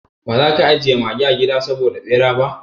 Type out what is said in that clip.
Ba za ka ajiye mage a gida saboda bera ba?